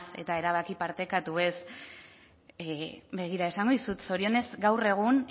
eta erabaki partekatuez begira esango dizut zorionez gaur egun